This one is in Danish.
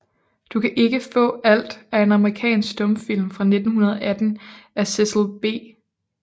Du kan ikke faa alt er en amerikansk stumfilm fra 1918 af Cecil B